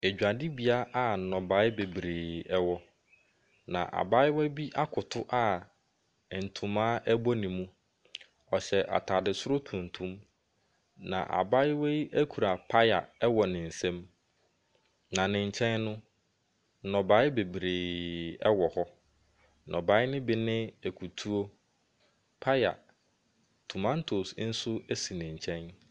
Adwadibea bi a nnoɔma bebree ɛwɔ na abaayewa bi akoto a ntama bɔ ne mu. Ɔhyɛ ataade soro tuntum. Na abaayewa yi kura paya wɔ ne nsam . Na ne nkyɛn no, nnɔbae bebree wɔ hɔ. Nnɔbea no bi ne akutuo, paya na tomantos nso esi ne nkyɛn.